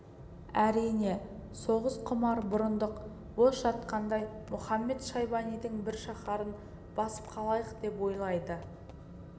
әрине соғысқұмар бұрындық бос жатқандай мұхамед-шайбанидың бір шаһарын басып қалайық деп ойлайды